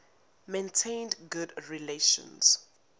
maintained good relations